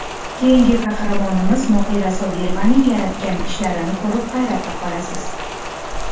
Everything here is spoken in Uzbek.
Keyingi qahramonimiz Mohira Sobirovaning yaratgan ishlarini ko‘rib, hayratda qolasiz.